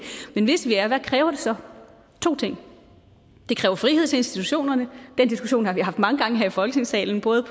men hvis vi er hvad kræver det så to ting det kræver frihed til institutionerne den diskussion har vi haft mange gange her i folketingssalen både